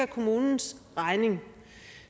kommunens regning